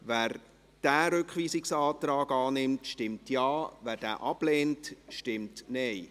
Wer diesen Rückweisungsantrag annimmt, stimmt Ja, wer diesen ablehnt, stimmt Nein.